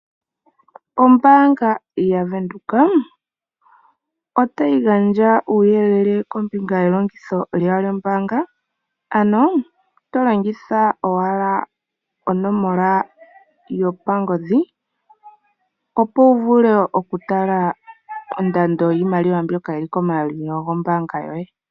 Ombaanga yaWindhoek otayi gandja uuyelele kombinga ye longitho lyawo lyo mbaanga ano to longitha owala onomola yopangodhi, opo wu vule oku tala ondando yiimaliwa mbyoka yili komayalulilo gombaanga yoye.